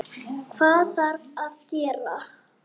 Hvað þarf að gera?